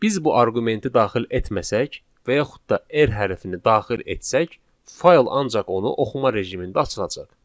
Biz bu arqumenti daxil etməsək və yaxud da r hərfini daxil etsək, fayl ancaq onu oxuma rejimində açılacaq.